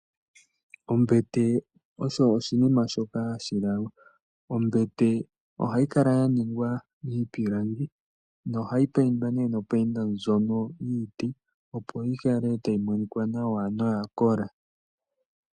Ombete osho oshinima shoka hashi lalwa. Ohayi kala ya ningwa miipilangi nogayi paindwa nopainda ndjono yiiti, opo yi kale tayi monika nawa noyakola.